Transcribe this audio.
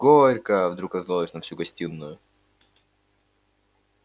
горько вдруг раздалось на всю гостиную